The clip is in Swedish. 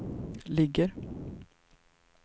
ligger